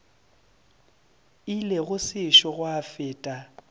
ile go sešo gwa feta